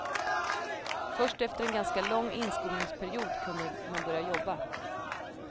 Först efter en ganska lång inskolningsperiod kunde man börja jobba.